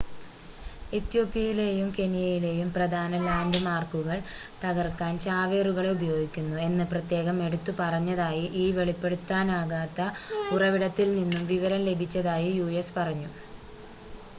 "എത്യോപ്യയിലെയും കെനിയയിലെയും "പ്രധാന ലാൻഡ് മാർക്കുകൾ" തകർക്കാൻ ചാവേറുകളെ ഉപയോഗിക്കുന്നു എന്ന് പ്രത്യേകം എടുത്തു പറഞ്ഞതായി ഒരു വെളിപ്പെടുത്താനാകാത്ത ഉറവിടത്തിൽ നിന്നും വിവരം ലഭിച്ചതായി യു.എസ്. പറഞ്ഞു.